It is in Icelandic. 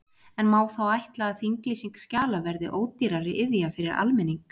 En má þá ætla að þinglýsing skjala verði ódýrari iðja fyrir almenning?